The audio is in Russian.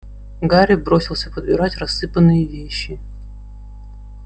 гарри бросился подбирать рассыпанные вещи